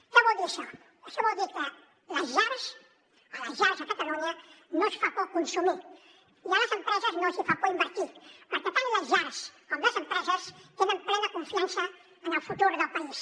què vol dir això això vol dir que a les llars a catalunya no els fa por consumir i a les empreses no els fa por invertir perquè tant les llars com les empreses tenen plena confiança en el futur del país